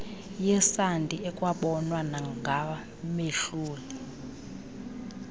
yesandi ekwabonwa nangamehlol